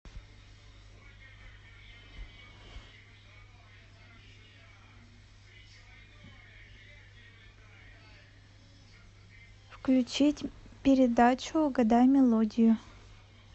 включить передачу угадай мелодию